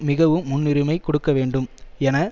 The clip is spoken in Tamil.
மிகவும் முன்னுரிமை கொடுக்க வேண்டும் என